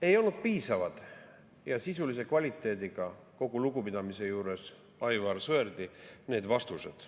Ei olnud piisavad ja sisulise kvaliteediga – kogu lugupidamise juures Aivar Sõerdi vastu – need vastused.